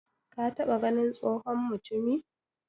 ka taba ganin tsohon mutumi?